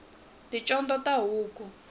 ticondzo ta huku